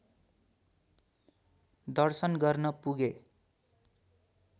दर्शन गर्न पुगे